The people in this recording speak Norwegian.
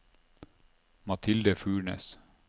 Mathilde Furnes